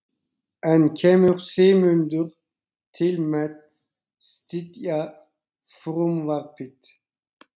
En kemur Sigmundur til með að styðja frumvarpið?